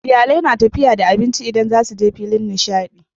Iyalai na tafiya da abinci idan zasuje filin nishadi